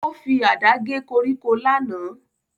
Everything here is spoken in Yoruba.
Ó fi àdá gé koríko lánàá